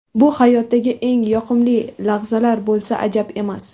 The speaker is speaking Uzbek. Bu hayotdagi eng yoqimli lahzalar bo‘lsa, ajab emas!